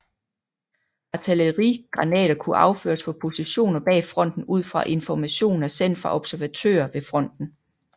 Artillerigranater kunne affyres fra positioner bag fronten ud fra informationer sendt fra observatører ved fronten